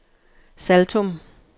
Saltum